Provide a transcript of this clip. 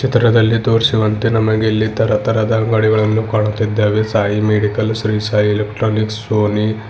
ಚಿತ್ರದಲ್ಲಿ ತೋರಿಸಿರುವಂತೆ ನಮಗೆ ಇಲ್ಲಿ ತರ ತರದ ಅಂಗಡಿಗಳನ್ನು ಕಾಣುತ್ತಿದ್ದೇವೆ Sai medical Shri Sai electronics Sony .